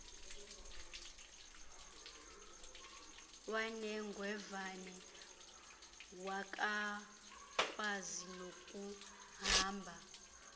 wanengevane akakwazi nokuhamba